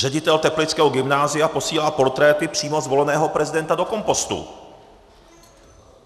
Ředitel teplického gymnázia posílá portréty přímo zvoleného prezidenta do kompostu.